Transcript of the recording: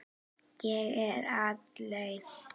Ég er aleinn.